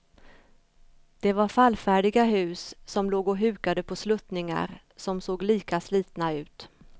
Det var fallfärdiga hus som låg och hukade på sluttningar som såg lika slitna ut.